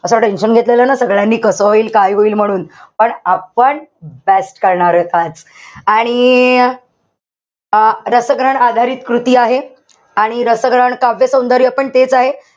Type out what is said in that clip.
असं tension घेतलेलं ना सगळ्यांनी कसं होईल काय होईल म्हणून. पण आपण best करणार आहोत आज. आणि अं रसग्रहण आधारित कृती आहे. आणि रसग्रहण, काव्यसौंदर्य पण तेच आहे.